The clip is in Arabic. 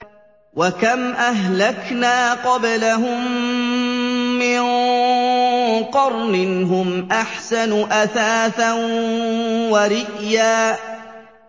وَكَمْ أَهْلَكْنَا قَبْلَهُم مِّن قَرْنٍ هُمْ أَحْسَنُ أَثَاثًا وَرِئْيًا